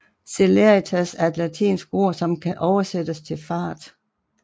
Celeritas er et latinsk ord som kan oversættes til fart